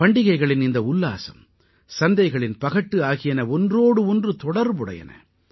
பண்டிகைகளின் இந்த உல்லாசம் சந்தைகளின் பகட்டு ஆகியன ஒன்றோடு ஒன்று தொடர்புடையன